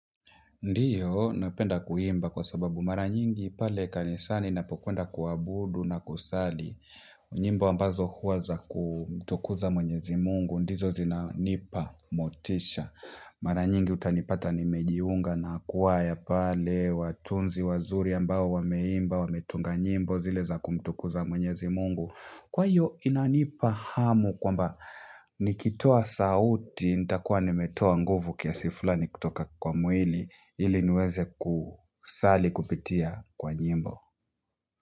Ndio, napenda kuimba kwa sababu mara nyingi pale kanisani ninapokwenda kuabudu na kusali. Nyimbo ambazo huwa za kumtukuza mwenyezi Mungu, ndizo zinanipa motisha. Mara nyingi utanipata nimejiunga na kwaya pale, watunzi wazuri ambao wameimba, wametunga nyimbo zile za kumtukuza mwenyezi Mungu. Kwa hiyo inanipa hamu kwamba nikitoa sauti, nitakuwa nimetoa nguvu kiasi fulani kutoka kwa mwili. Ili niweze kusali kupitia kwa nyimbo.